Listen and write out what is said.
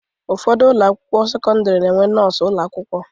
Ụfọdụ ụlọakwụkwọ sekọndịrị na-enwe nọọsụ ụlọakwụkwọ